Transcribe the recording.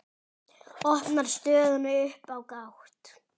Opnar stöðuna upp á gátt.